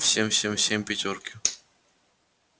всем всем всем пятёрки